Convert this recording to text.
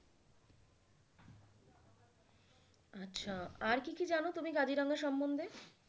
আচ্ছা আর কী কী জানো তুমি কাজিরাঙা সম্মধ্যে?